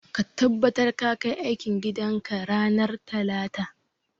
Ka tabbatar ka kai aikin gidan ka ranar talata.